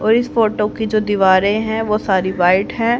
और इस फोटो की जो दीवारें हैं वो सारी व्हाईट हैं।